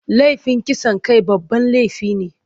Laifin kisan kai babban laifi ne.